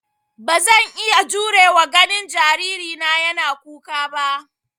Ba zan iya jurewa ganin jaririna yana kuka ba.